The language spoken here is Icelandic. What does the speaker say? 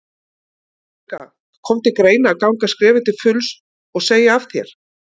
Guðný Helga: Kom til greina að ganga skrefið til fulls og, og segja af þér?